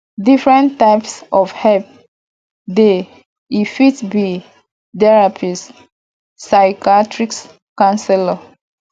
different types of help dey e fit be therapist psychiathrist councelor